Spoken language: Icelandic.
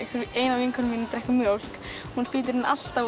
af vinkonum mínum drekkur mjólk hún spýtir henni alltaf